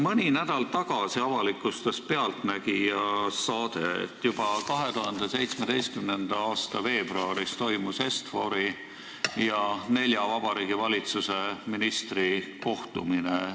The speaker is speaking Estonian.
Mõni nädal tagasi avalikustas "Pealtnägija" saade, et juba 2017. aasta veebruaris toimus Est-Fori ja Vabariigi Valitsuse nelja ministri kohtumine.